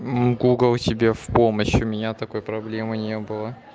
гугл тебе в помощь у меня такой проблемы не было